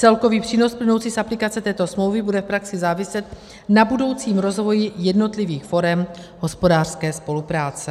Celkový přínos plynoucí z aplikace této smlouvy bude v praxi záviset na budoucím rozvoji jednotlivých forem hospodářské spolupráce.